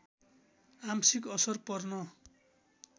आंशिक असर पर्न